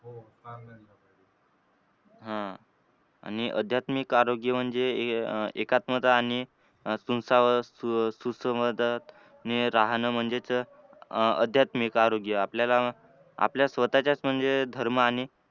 आह आणि अध्यात्मिक आरोग्य म्हणजे अह सुसंवा सुसंवादाने राहणं म्हणजेच अह अध्यात्मिक आरोग्य आपल्याला आपल्या स्वतःच्या मणजे धर्म आणि